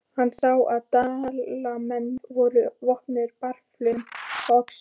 Hann sá að Dalamenn voru vopnaðir bareflum og öxum.